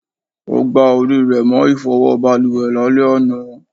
O gbà orí rẹ mọ ifowo baluwe lale àná